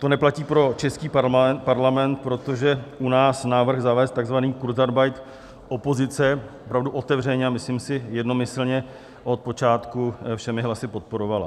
To neplatí pro český parlament, protože u nás návrh zavést takzvaný kurzarbeit opozice opravdu otevřeně, a myslím si jednomyslně, od počátku všemi hlasy podporovala.